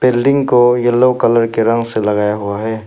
Building को yellow colour के रंग से लगाया हुआ है।